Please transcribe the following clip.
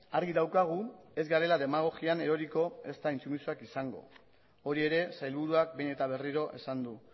argi daukagu ez garela demagogian eroriko ezta intsumisoak izango hori ere sailburuak behin eta berriro esan du